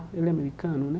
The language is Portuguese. Ele é americano, né?